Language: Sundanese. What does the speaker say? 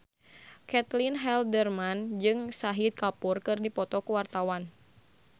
Caitlin Halderman jeung Shahid Kapoor keur dipoto ku wartawan